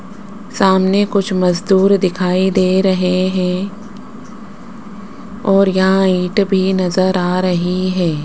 सामने कुछ मजदूर दिखाई दे रहे हैं और यहां ईंट भी नजर आ रही है।